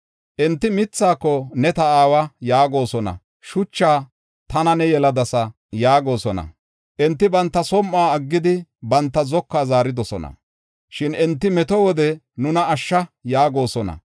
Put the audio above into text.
Enti mithaako, ‘Ne ta aawa’ yaagosona; shuchaa, ‘Tana ne yeladasa yaagosona. Enti banta som7uwa aggidi, banta zokuwa zaaridosona. Shin enti meto wode nuna ashsha!’ yaagosona.